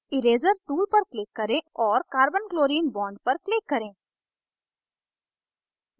erazer tool पर click करें और carbonchlorine bond पर click करें